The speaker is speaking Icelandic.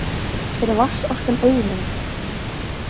Er vatnsorkan auðlind?